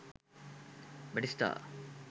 batista